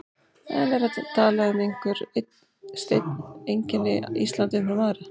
En er hægt að tala um að einhver einn steinn einkenni Ísland umfram aðra?